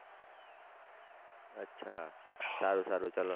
અચ્છા સારું સારું ચાલો